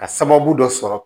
Ka sababu dɔ sɔrɔ